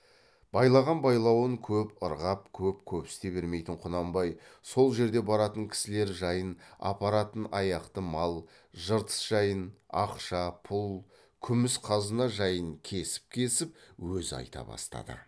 байлаған байлауын көп ырғап көп көпсіте бермейтін құнанбай сол жерде баратын кісілер жайын апаратын аяқты мал жыртыс жайын ақша пұл күміс қазына жайын кесіп кесіп өзі айта бастады